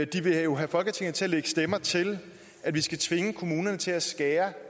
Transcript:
de vil jo have folketinget til at lægge stemmer til at vi skal tvinge kommunerne til at skære